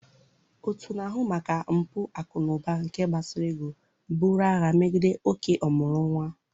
Òtù na-ahụ maka mpụ akụ na ụba nke gbasara ego buru agha megide oké ọmụrụ nwa.